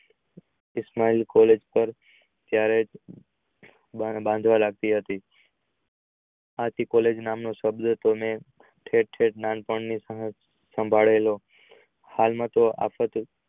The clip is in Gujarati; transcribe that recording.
પર ત્યારે બાંધવા લગતી હતી આથી college નામ ના શબ્દથી નાનપણ થી શાંભળે લો તો આવતા